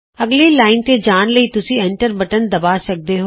ਅਗਲੀ ਲਾਈਨ ਤੇ ਜਾਣ ਲਈ ਤੁਸੀਂ ਐਂਟਰ ਬਟਨ ਦਬਾ ਸਕਦੇ ਹੋ